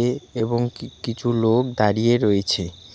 এ-এবং কি-কিছু লোক দাঁড়িয়ে রয়েছে.